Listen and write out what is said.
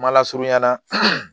Ma lasurunya la